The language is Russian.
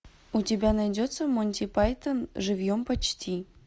у тебя найдется монти пайтон живьем почти